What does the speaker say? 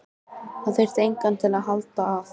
Það þyrfti enginn að halda að